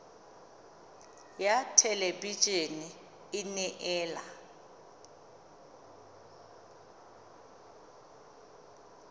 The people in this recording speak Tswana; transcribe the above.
ya thelebi ene e neela